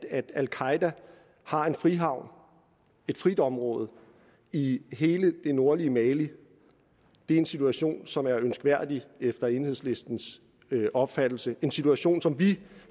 at al qaeda har en frihavn et friområde i hele det nordlige mali en situation som er ønskværdig efter enhedslistens opfattelse en situation som vi